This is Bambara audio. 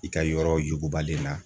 I ka yɔrɔ yugubalen na